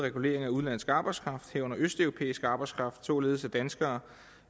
regulering af udenlandsk arbejdskraft herunder østeuropæisk arbejdskraft således at danskere